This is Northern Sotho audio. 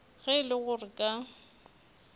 ge e le gore ka